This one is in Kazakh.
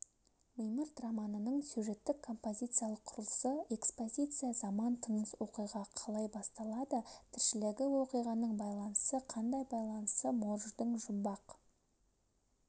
мимырт романының сюжеттік-композициялық құрылысы экспозиция заман тыныс оқиға қалай басталады тіршілігі оқиғаның байланысы қандай байланысы морждың жұмбақ